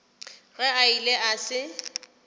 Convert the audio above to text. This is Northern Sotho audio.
ge a ile a se